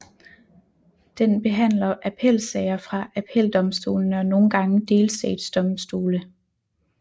Den behandler appelsager fra appeldomstolene og nogle gange delstatsdomstole